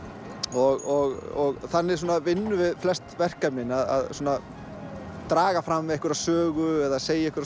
og þannig vinnum við flest verkefnin að svona draga fram einhverja sögu segja einhverja